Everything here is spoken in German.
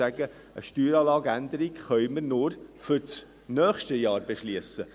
Eine Steueranlageänderung können wir nur für das nächste Jahr beschliessen.